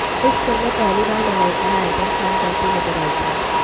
इस फिल्म में पहली बार मलाइका ने आइटम सॉन्ग करती नजर आई थी